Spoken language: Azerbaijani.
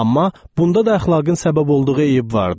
Amma bunda da əxlaqın səbəb olduğu eyib vardı.